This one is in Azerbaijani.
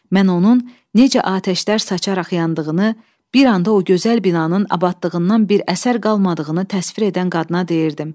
Mən onun necə atəşlər saçaraq yandığını, bir anda o gözəl binanın abadlığından bir əsər qalmadığını təsvir edən qadına deyirdim.